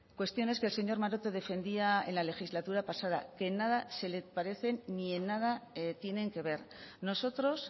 cuestiones que el señor maroto defendía en la legislatura pasada que en nada se le parecen ni en nada tienen que ver nosotros